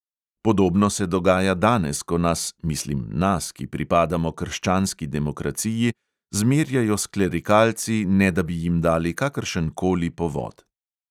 Podobno se dogaja danes, ko nas – mislim nas, ki pripadamo krščanski demokraciji – zmerjajo s klerikalci, ne da bi jim dali kakršenkoli povod.